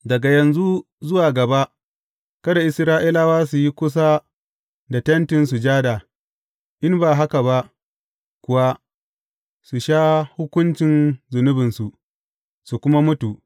Daga yanzu zuwa gaba, kada Isra’ilawa su yi kusa da Tentin Sujada, in ba haka ba kuwa su sha hukuncin zunubinsu, su kuma mutu.